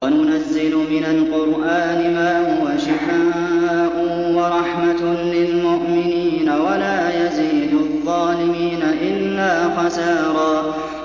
وَنُنَزِّلُ مِنَ الْقُرْآنِ مَا هُوَ شِفَاءٌ وَرَحْمَةٌ لِّلْمُؤْمِنِينَ ۙ وَلَا يَزِيدُ الظَّالِمِينَ إِلَّا خَسَارًا